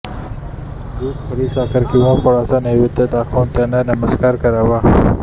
दुध खडीसाखर किंवा फळांचा नैवेद्य दाखवून त्यांना नमस्कार करावा